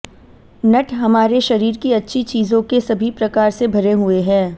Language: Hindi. नट हमारे शरीर की अच्छी चीजों के सभी प्रकार से भरे हुए हैं